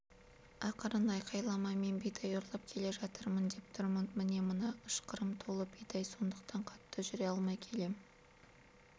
ақырын айқайлама мен бидай ұрлап келе жатырмын деп тұрмын міне мына ышқырым толы бидай сондықтан қатты жүре алмай келем